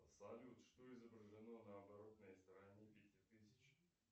салют что изображено на оборотной стороне пятитысячных